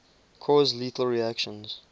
cause lethal reactions